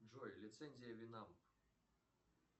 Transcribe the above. джой лицензия винамп